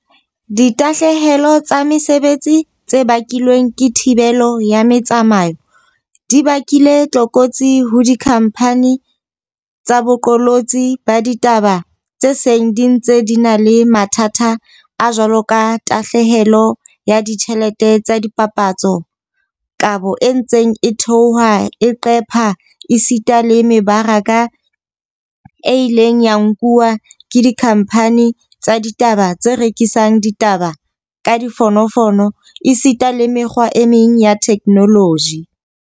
Ditahlehelo tsa mesebetsi tse bakilweng ke thibelo ya metsamao di bakile tlokotsi ho dikhamphani tsa boqolotsi ba ditaba tse seng di ntse di na le mathata a jwaloka tahlehelo ya ditjhelete tsa dipapatso, kabo e ntseng e theoha e qepha esita le me baraka e ileng ya nkuwa ke dikhamphani tsa ditaba tse rekisang ditaba ka difono fono esita le mekgwa e meng ya theknoloji.